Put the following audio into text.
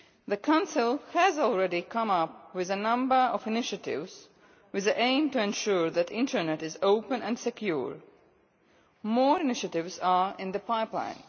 The Council has already come up with a number of initiatives with the aim of ensuring that the internet is open and secure. More initiatives are in the pipeline.